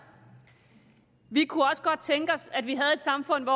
vi kunne også godt tænke os at vi havde samfund